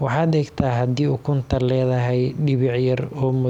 waxaad eegtaa haddii ukuntu leedahay dhibic yar oo madow.